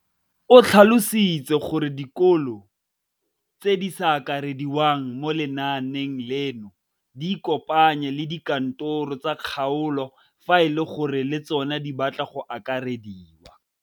O tlhalositse gore dikolo tse di sa akarediwang mo lenaaneng leno di ikopanye le dikantoro tsa kgaolo fa e le gore le tsona di batla go akarediwa.